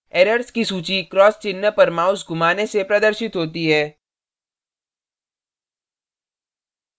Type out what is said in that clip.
errors की सूची cross चिन्ह पर mouse घुमाने से प्रदर्शित होती है